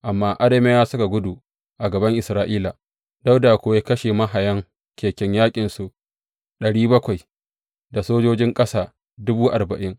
Amma Arameyawa suka gudu a gaban Isra’ila, Dawuda kuwa ya kashe mahayan keken yaƙinsu ɗari bakwai, da sojojin ƙasa dubu arba’in.